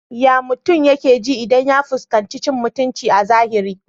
Ya mutum yake ji idan ya fuskanci cin muutunci a zahiri?